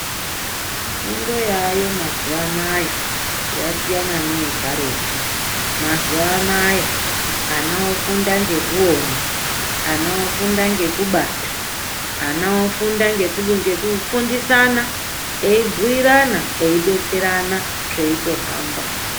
Fundo yaayo mazuwanaya yasiyana neyekaretu. Mazuwanaya ana ofunda ngekuona, ana ofunda ngekubata, ana ofunda ngekufundisana eyibhuyirana eidetserana zveitohamba.